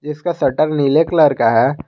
जिसका शटर नीले कलर का है।